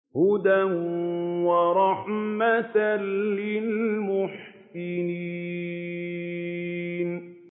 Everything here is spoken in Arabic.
هُدًى وَرَحْمَةً لِّلْمُحْسِنِينَ